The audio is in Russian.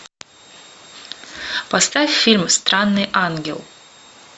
поставь фильм странный ангел